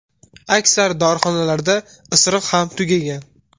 Aksar dorixonalarda isiriq ham tugagan.